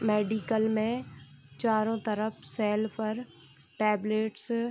medical मे चारो तरफ सेल पर टेबलेट्स --